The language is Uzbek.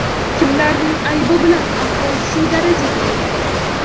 Kimlarning aybi bilan ahvol shu darajaga yetgan?